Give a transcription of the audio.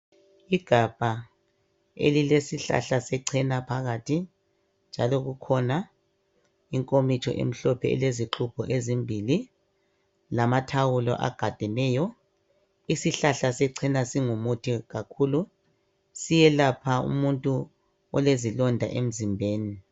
Igabha elile sihlahla secena phakathi, njalo kukhona inkomitsho emhlophe eceleni elile zixubho ezimbili, lamathawulo agadeneyo. Isihlahla secena singumuthi kakhulu siyelapha umuntu olezilonda emzimbeni.